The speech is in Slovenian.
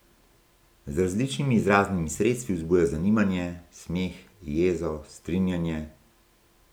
Z različnimi izraznimi sredstvi vzbuja zanimanje, smeh, jezo, strinjanje ...